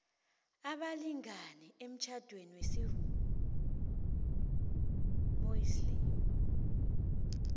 abalingani emtjhadweni wesimuslimu